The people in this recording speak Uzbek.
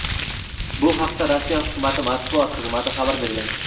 Bu haqda Rossiya Hukumati matbuot xizmati xabar bergan.